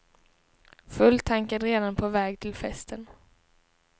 Fulltankad redan på väg till festen.